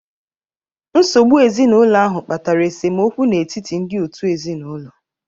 Nsogbu ezinụlọ ahụ kpatara esemokwu n'etiti ndị òtù ezinụlọ.